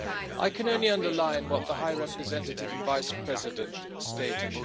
I can only underline what the High Representative Vice-President stated.